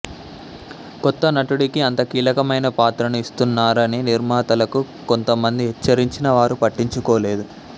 కొత్త నటుడికి అంత కీలకమైన పాత్రను ఇస్తున్నారని నిర్మాతలకు కొంతమంది హెచ్చరించినా వారు పట్టించుకోలేదు